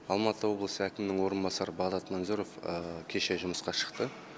алматы облысы әкімнің орынбасары бағдат манзоров кеше жұмысқа шықты